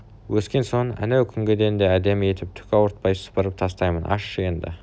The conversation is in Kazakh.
өскен соң әнеукүнгіден де әдемі етіп түк ауыртпай сыпырып тастаймын ашшы енді